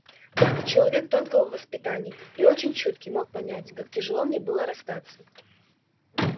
только человек тонкого воспитания и очень чуткий мог понять как тяжело мне было расстаться